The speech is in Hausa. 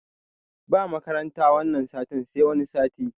Ba makaranta wanan satin sai wani sati